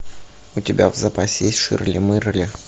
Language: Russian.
у тебя в запасе есть ширли мырли